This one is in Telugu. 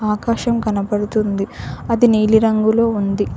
ఆకాశం కనబడుతుంది అది నీలి రంగులో ఉంది.